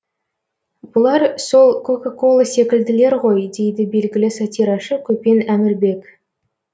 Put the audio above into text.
бұлар сол кока кола секілділер ғой дейді белгілі сатирашы көпен әмірбек